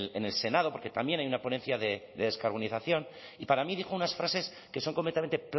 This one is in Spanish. en el senado porque también hay una ponencia de descarbonización y para mí dijo unas frases que son completamente